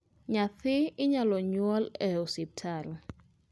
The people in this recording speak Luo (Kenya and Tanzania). Nyadhi inyalo nyuol e hospital